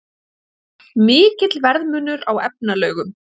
Mikill verðmunur á efnalaugum